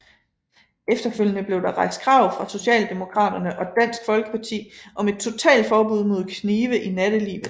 Efterfølgende blev der rejst krav fra Socialdemokraterne og Dansk Folkeparti om et totalt forbud mod knive i nattelivet